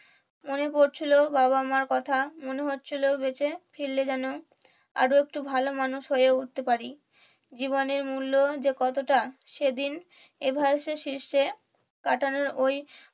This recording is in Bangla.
মনে পড়ছিলো বাবা মার কথা মনে হচ্ছিল বেঁচে ফিরলে যেন আরো একটু ভালো মানুষ হয়ে উঠতে পারি জীবনের মূল্য যে কতটা সেদিন এভারেস্টের শীর্ষে কাটানোর ওই